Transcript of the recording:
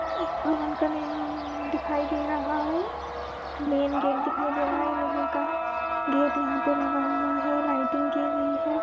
एक भवन का निम्-- दिखाई दे रहा है मैन गेट दिखाई दे रहा हैलोहे का गेट यहाँ पे लगा हुआ है लाइटिंग की गई है।